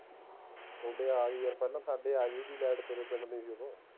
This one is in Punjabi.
ਥੋਡੇ ਆਗੀ ਯਾਰ ਪਹਿਲਾ ਸਾਡੇ ਆਗੀ ਸੀ ਲੇਟ ਤਾਂ